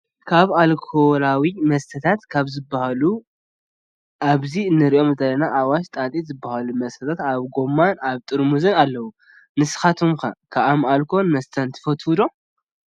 ካብ ኣልኮላዊ መስተታት ካብ ዝበሃሉ ኣብዚ እንሪኦ ዘለና ኣዋሽ ፣ጣጤ ዝበሉ መስተታት ኣብ ጎማን ኣብ ጥርሙዝን ኣለው። ንስካትኩም ከ ኣልኮላዊ መስተታት ትፈትው ዶ ?